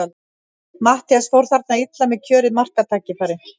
Matthías fór þarna illa með kjörið marktækifæri.